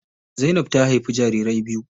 Zainab ta haifi jarirai biyu.